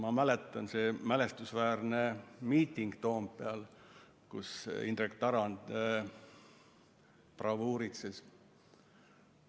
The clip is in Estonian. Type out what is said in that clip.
Ma mäletan seda mälestusväärset miitingut Toompeal, kus Indrek Tarand bravuuritses.